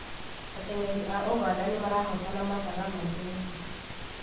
Ateng'eri a ũganda nĩmarahotana mathaga maingĩ mũno